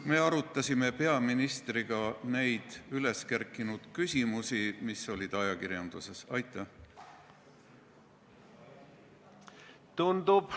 Me arutasime peaministriga üles kerkinud küsimusi, mis olid ajakirjanduses avaldatud.